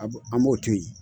A b'o an m'o to ye.